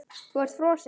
Þú ert frosin.